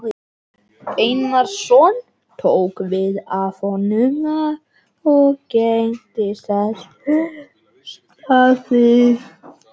Einarsson tók við af honum og gegndi þessu starfi